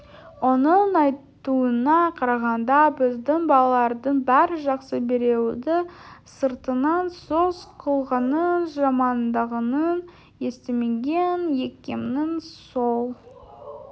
оның айтуына қарағанда біздің балалардың бәрі жақсы біреуді сыртынан сөз қылғанын жамандағанын естімеген екенмін сол